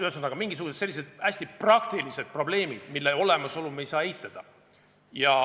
Ühesõnaga, mingisugused sellised hästi praktilised probleemid, mille olemasolu me ei saa eitada.